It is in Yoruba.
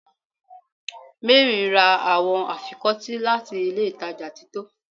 Mary ra awọn afikọti lati ilé ìtajà tito